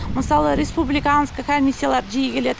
мысалы республиканский комиссиялар жиі келеді